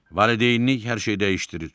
Valideynlik hər şeyi dəyişdirir.